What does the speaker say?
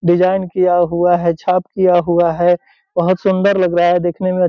Design किया हुआ है छाप किया हुआ है बहुत सुंदर लग रहा है देखने में।